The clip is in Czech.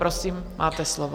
Prosím, máte slovo.